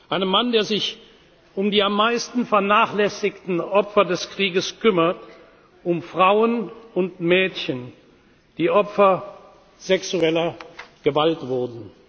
Einem Mann, der sich um die am meisten vernachlässigten Opfer des Krieges kümmert, um Frauen und Mädchen, die Opfer sexueller Gewalt wurden.